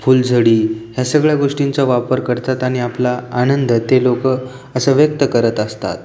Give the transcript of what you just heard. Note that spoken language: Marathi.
फुलझडि ह्या सगळ्या गोष्टींचा वापर करतात आणि आपला आनंद ते लोक असा व्यक्त करत असतात.